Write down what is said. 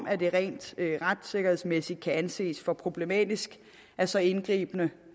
at det rent retssikkerhedsmæssigt kan anses for problematisk at så indgribende